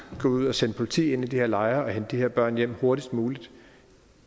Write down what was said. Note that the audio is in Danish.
gå ud og sende politi ind i de her lejre og hente de her børn hjem hurtigst muligt